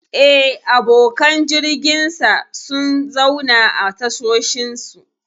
Eh, abokan jirginsa sun zauna a tashoshinsu.